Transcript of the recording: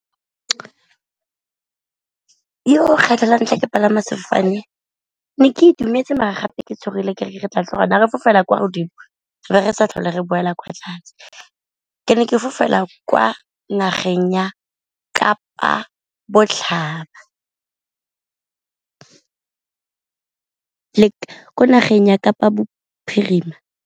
Kgetlho la ntlha ke palama sefofane ke ne ke itumetse mare gape ke tshogile ke re tla tloga re fofela kwa godimo be re sa tlhole re boela kwa tlase, ke ne ke fofela kwa nageng ya Kapa Botlhaba, ko nageng ya Kapa Bophirima.